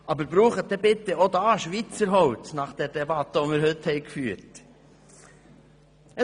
Aber verwenden Sie dann bitte auch hier Schweizer Holz nach der Debatte, die wir heute geführt haben.